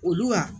Olu wa